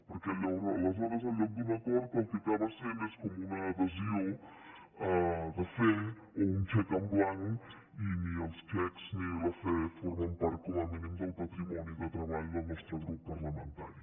perquè aleshores en comptes d’un acord el que acaba sent és com una adhesió de fe o un xec en blanc i ni els xecs ni la fe formen part com a mínim del patrimoni de treball del nostre grup parlamentari